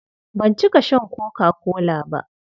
Ban cika shan koka-kola ba.